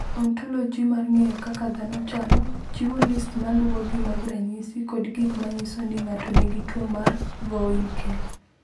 "Ontoloji mar ng’eyo kaka dhano chalo, chiwo list ma luwogi mag ranyisi kod gik ma nyiso ni ng’ato nigi tuwo mar Vohwinkel."